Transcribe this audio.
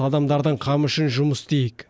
адамдардың қамы үшін жұмыс істейік